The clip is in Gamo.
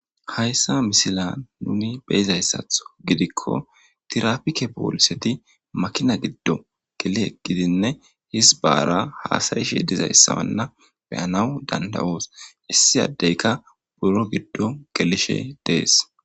Hayssa misila nuni beyizayssatho gidikko tirapike pooliseti makina giddo geli eqgidinne hizbaara haasayishe dizayssawanna beyanawu dandawoos issi addeyka buro giddo gelishe dees.